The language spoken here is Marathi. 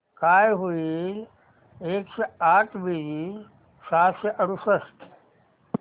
काय होईल एकशे आठ बेरीज सहाशे अडुसष्ट